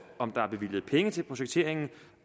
om der er bevilget penge til projekteringen